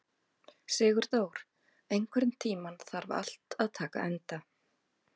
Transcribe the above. Sigurdór, einhvern tímann þarf allt að taka enda.